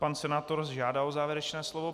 Pan senátor žádá o závěrečné slovo.